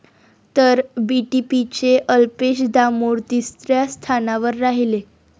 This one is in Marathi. तर बीटीपीचे अल्पेश दामोर तिसऱ्या स्थानावर राहिले.